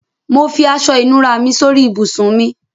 Mo fi aṣọ-ìnùra mi sórí ibùsùn mi.